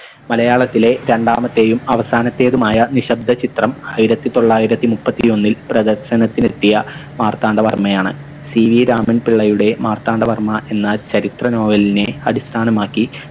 മലയാളത്തിലെ രണ്ടാമത്തേയും അവസാനത്തേതുമായ നിശബ്ദ ചിത്രം ആയിരത്തി തൊള്ളായിരത്തി മുപ്പത്തിയൊന്നിൽ പ്രദർശനത്തിനെത്തിയ മാർത്താണ്ഡവർമയാണ് CE രാമൻ പിള്ളയുടെ മാർത്താണ്ഡവർമ്മ എന്ന ചരിത്ര novel നെ അടിസ്ഥാനമാക്കി